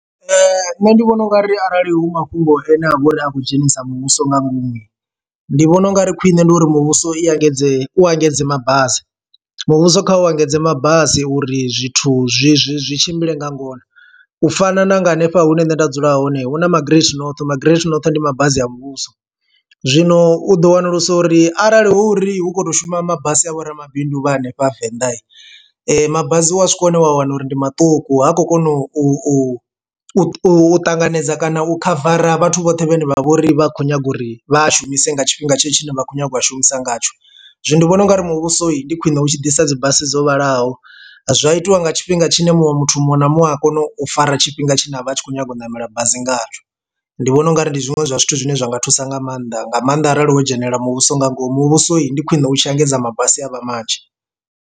Nṋe ndi vhona ungari arali hu mafhungo ane a vha a khou dzhenisa muvhuso nga ngomu ndi vhona ungari khwiṋe ndi uri muvhuso i engedze u engedze mabasi muvhuso kha u engedze mabasi uri zwithu zwi zwi zwi tshimbile nga ngona, u fana na nga hanefha hune nṋe nda dzula hone hu na magaraṱ not magaraṱ noṱhe ndi mabasi a muvhuso. Zwino u ḓo wanulusa uri arali hu uri hu khou to shuma mabasi a vhoramabindu vha hanefha venḓa mabasi wa swika hune wa wana uri ndi maṱuku ha khou kona u u ṱanganedza kana u khavara vhathu vhoṱhe vhane vha vhori vha khou nyaga uri vha shumise nga tshifhinga tshetsho tshine vha khou nyaga u a shumisa ngatsho zwino ndi vhona ungari muvhusoni ndi khwine u tshi ḓisa dzi basi dzo vhalaho zwa itiwa nga tshifhinga tshine muṅwe muthu muṅwe na muṅwe a kone u fara tshifhinga tshi ne a vha a tshi khou nyanga u namela bazi ngatsho ndi vhona ungari ndi zwiṅwe zwa zwithu zwine zwa nga thusa nga maanḓa nga maanḓa arali wo dzhenelela muvhuso nga ngomu muvhusoni ndi khwine utshi engedza mabasi a vha manzhi.